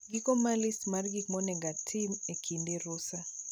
Giko mar list mar gik monego otim e kinde rusa